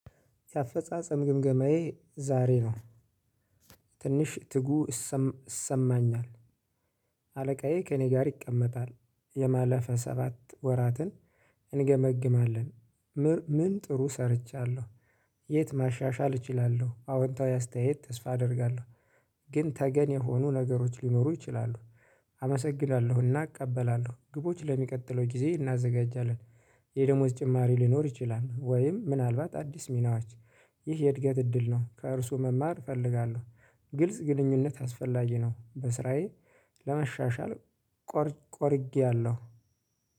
የአፈጻጸም ግምገማዬ ዛሬ ነው። ትንሽ ትጉ ይሰማኛል። አለቃዬ ከእኔ ጋር ይቀመጣል የማለፍ ሰባት ወራትን እንገመግማለን። ምን ጥሩ ሰርቻለሁ? የት ማሻሻል እችላለሁ አዎንታዊ አስተያየት ተስፋ አደርጋለሁ። ግን ተገን የሆኑ ነገሮች ሊኖሩ ይችላሉ። አመሰግናለሁና እቀበላለሁ ግቦች ለሚቀጥለው ጊዜ እናዘጋጃለን። የደሞዝ ጭማሪ ሊኖር ይችላል ወይም ምናልባት አዲስ ሚናዎች። ይህ የእድገት እድል ነው ከእርሱ መማር እፈልጋለሁ። ግልጽ ግንኙነት አስፈላጊ ነው። በስራዬ ለመሻሻል ቆርጨያለሁ።